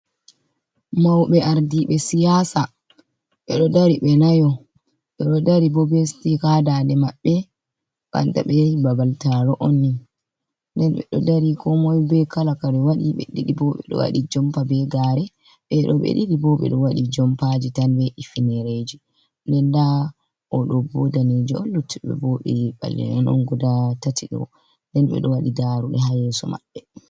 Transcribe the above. Mawɓe ardiiɓe siyaasa ,ɓe ɗo dari ɓe nayo. Ɓe ɗo dari bo be sitika haa daaɗe maɓɓe banta ɓe yahi babal taaro on ni .Nden ɓe ɗo dari komoy be kala kare ɓe waɗi ,ɓe ɗiɗi bo ɓe ɗo waɗi jompa be gaare. Ɓe ɗo ɓe ɗiɗi bo, ɓe ɗo waɗi jompaaji tan ɓe hifinireeji nden ndaa o ɗo o daneejo on, luttuɓe bo ɓe ɓalee'en on guda tati ɗo. Nden ɓe ɗo waɗi darooɗe haa yeeso maɓɓe.